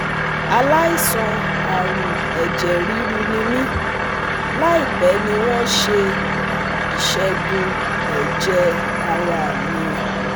aláìsàn arun eje riru ni mí, láìpẹ́ ni wọ́n ṣe ìṣẹ̀gùn ẹ̀jẹ̀ ara mi